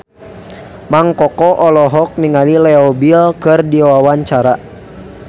Mang Koko olohok ningali Leo Bill keur diwawancara